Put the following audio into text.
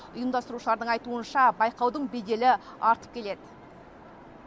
ұйымдастырушылардың айтуынша байқаудың беделі артып келеді